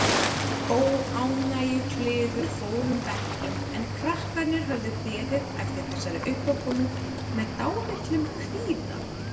Óánægjukliður fór um bekkinn en krakkarnir höfðu beðið eftir þessari uppákomu með dálitlum kvíða.